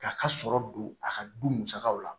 K'a ka sɔrɔ don a ka du musakaw la